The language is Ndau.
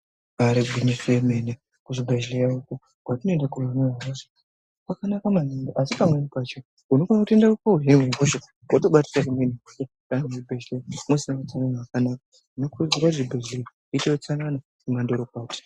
Ibari gwinyiso remene kuzvibhedhlera uko kwetinoenda kuno hinwe hosha kwakanaka maningi asi pamweni pacho unokona kutoende kotozvi hine hosha wotobatira zvimweni kana zvibhedhlera musina utsanana wakanaka, tinokurudzira kuti zvibhehlera zviite utsanana wemandorokwati.